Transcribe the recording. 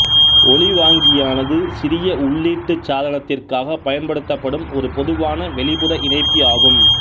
ஒலிவாங்கியானது சிறிய உள்ளீட்டு சாதனத்திற்காகப் பயன்படுத்தப்படும் ஒரு பொதுவான வெளிப்புற இணைப்பி ஆகும்